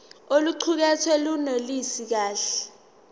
oluqukethwe lunelisi kahle